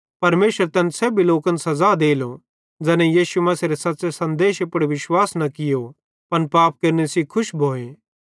परमेशर तैन सेब्भी लोकन सज़ा देलो ज़ैनेईं यीशु मसीहेरे सच़्च़े सन्देशे पुड़ विश्वास न कियो पन पाप केरने सेइं खुश भोए